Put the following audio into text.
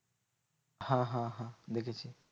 হ্যাঁ হ্যাঁ হ্যাঁ দেখেছি।